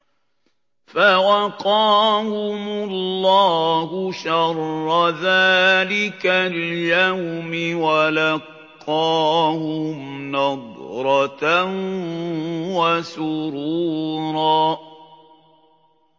فَوَقَاهُمُ اللَّهُ شَرَّ ذَٰلِكَ الْيَوْمِ وَلَقَّاهُمْ نَضْرَةً وَسُرُورًا